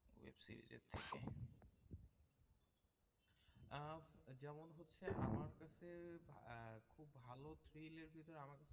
আহ যেমন হচ্ছে আমার কাছে আহ খুব ভালো আমাকে